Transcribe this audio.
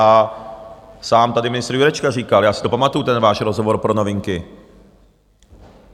A sám tady ministr Jurečka říkal, já si to pamatuju, ten váš rozhovor pro Novinky.